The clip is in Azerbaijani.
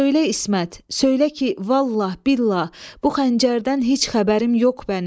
Söylə, İsmət, söylə ki, vallah, billah, bu xəncərdən heç xəbərim yox bənim.